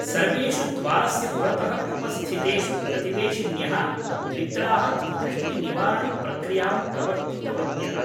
सर्वेषु द्वारस्य पुरतः उपस्थितेषु प्रतिवेशिन्यः द्वित्राः कुदृष्टिनिवारण प्रक्रियां प्रवर्तितवत्यः ।